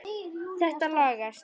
Þetta lagast.